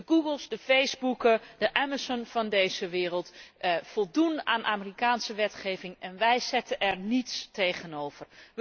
De Googles, de Facebooken, de Amazone van deze wereld voldoen aan Amerikaanse wetgeving en wij zetten er niets tegenover.